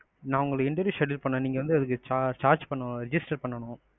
நான் உங்களுக்கு interview schedule பண்ண நீங்க வந்து அதுக்கு charge பண்ணனும், register பண்ணனும்.